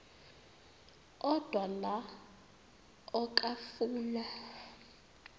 odwa la okafuna